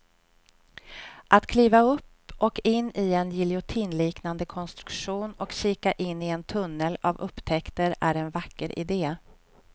Att kliva upp och in i en giljotinliknande konstruktion och kika in i en tunnel av upptäckter är en vacker idé.